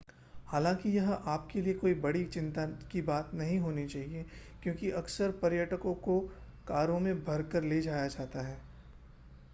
हालाँकि यह आप के लिए कोई बहुत बड़ी चिंता की बात नहीं होनी चाहिए क्योंकि अक्सर पर्यटकों को कारों में भरकर ले जाया जाता है।